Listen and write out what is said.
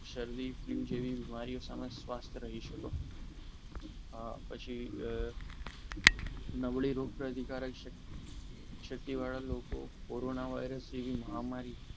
શરદી જેવી બીમારીઓ સ્વાસ્થ્ય રહી શકો પણ પછી નબળી રોગપ્રદ શક્તિવાળા લોકો કોરોના વાયરસ જેવી મહામારી